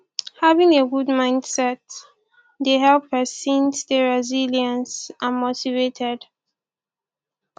having a good mindset dey help pesin stay resilience and motivated